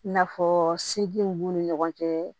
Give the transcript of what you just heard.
I n'a fɔ segu b'u ni ɲɔgɔn cɛ